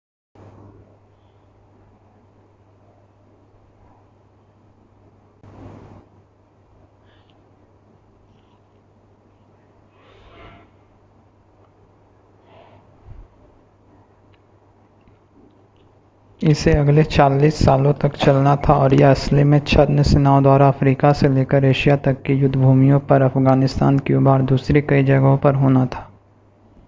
इसे अगले 40 सालों तक चलना था और यह असली में छद्म सेनाओं द्वारा अफ़्रीका से लेकर एशिया तक की युद्धभूमियों पर अफ़गानिस्तान क्यूबा और दूसरी कई जगहों पर होना था